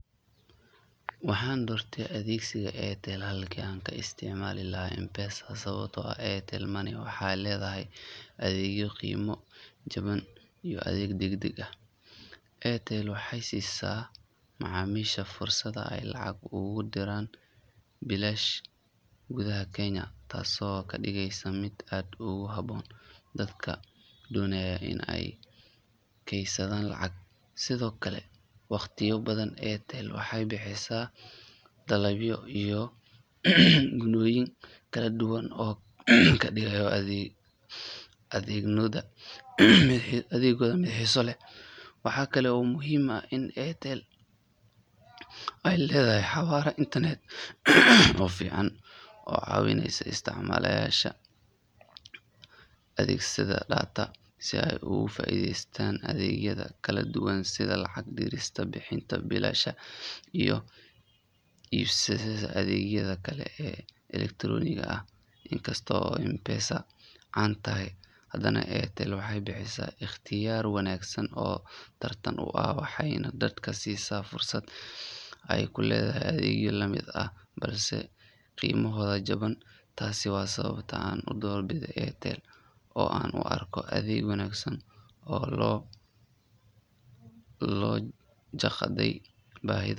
Waaxan doorte adeegsiga Aritel halkii aan ka isticmaali laaha M_pesa sabaabto Aritel Money waaxe ledaahay adeegyo qiimo jabaan iyo adeeg dagdag ah Airtel waaxey siisa macamisha fursad ee lacag ugu diraan bilaash gudah Kenya taaso kadigeyso mid aad ugu habon dadka doonayan ina ey keysadan lacag sidhoo kale wakhtiyada badaan Airtel waaxey bixiisa daalabyo iyo gunoyin kala duwaan oo kadiigayo adeegoda mid xiiso leh waaxa kale oo muhim in Airtel ey ledaahay xawala Internet oo fiican oo cawineyso istacmalasha adeeg sada Date sii ee ugu faaiidaystan adeegyada kala duwaan sidhaa lacagta bixista oo bilaash iyo ibsaada adeegyada kale ee Electronic gaa in kastoo oo M_pesa caan taahay hadaan Airtel waaxey biixisa iqtiiyaar wanaagsan oo taartan u aah waaxeyna daadka siisa fursad ee ku ledahay adeegyo la mid ah balse qimaahoda jaban taas waa sababta aan ku dorbiidhe oo aan u arko adeeg oo loo jeqday bahidoda